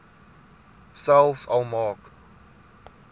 selfs al maak